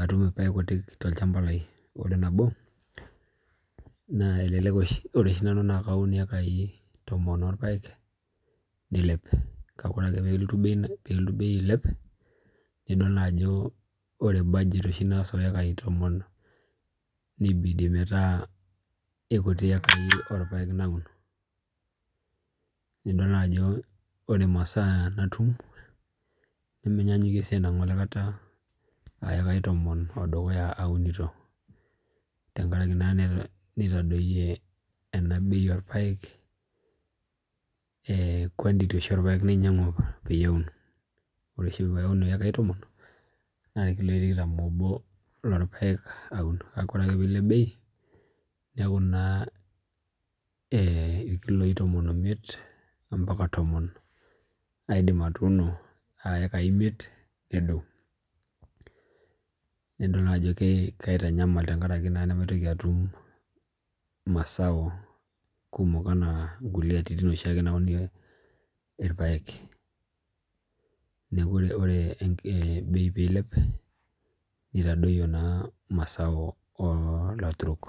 atum ilpaek kutik tolchamba lai Ore nabo naa ore oshi nanu naa kaun iyekai tomon olpaek nilep kake orake peelotu bei ailep nidol naa ajo ore budget oshi naas oekai tomon nibidi metaa ikuti iyekai orpaek naun nidol naajo ore imasaa natum nemenyanyukie sii enang'ole kata aayekai tomon odukuya aunito tengaraki naa netadoyie ena bei olpaek eeh quantity oshi olpaek nainyang'u peyie aun Ore oshi paaun iyekai tomon naa irkiloi tikitam ono lorpaek aun kake ore ake piilep bei neeku naa ee irkiloi tomon omiet mpaka tomon aidim atuuno aa iyekai imiet nedou Nidol naajo kaitanyamal tengaraki naa nemaitoki atum imasaa kumok enaa ngulie atitin oshi ake naunie ilpaek neeku ore bei piilep nitadoyio naa masao olaturok